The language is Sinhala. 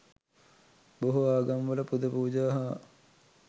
බොහෝ ආගම්වල පුද පූජා හා